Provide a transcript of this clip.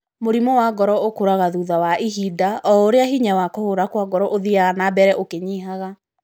Mũrimũ wa ngoro ũkũraga thutha wa ihinda o ũrĩa hinya wa kũhũra kwa ngoro ũthiaga na mbere ũkĩnyihaga.